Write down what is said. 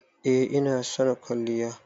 eh ina son kwalliya.